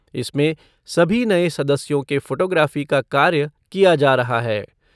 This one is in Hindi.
इसमें सभी नए सदस्यों के फ़ोटो लेने का कार्य किया जा रहा है।